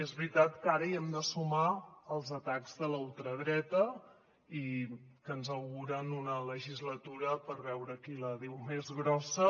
és veritat que ara hi hem de sumar els atacs de la ultradreta que ens auguren una legislatura per veure qui la diu més grossa